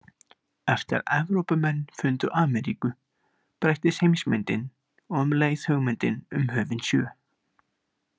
Eftir að Evrópumenn fundu Ameríku breyttist heimsmyndin og um leið hugmyndin um höfin sjö.